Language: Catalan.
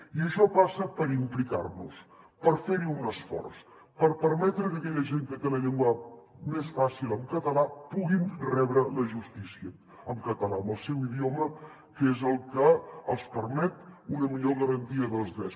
i això passa per implicar nos per fer hi un esforç per permetre que aquella gent que té la llengua més fàcil en català puguin rebre la justícia en català en el seu idioma que és el que els permet una millor garantia dels drets